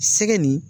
Sɛgɛ nin